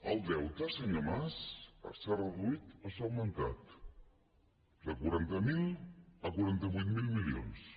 el deute senyor mas s’ha reduït o s’ha augmentat de quaranta miler a quaranta vuit mil milions